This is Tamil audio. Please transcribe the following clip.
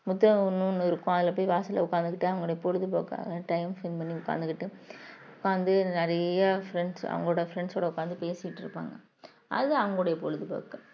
ஒண்ணு இருக்கும் அதுல போய் வாசல்ல உட்கார்ந்துகிட்ட அவங்களுடைய பொழுதுபோக்கு time spend பண்ணி உட்கார்ந்துகிட்டு வந்து நிறைய friends அவங்களோட friends ஓட உட்கார்ந்து பேசிட்டிருப்பாங்க அது அவங்களுடைய பொழுதுபோக்கு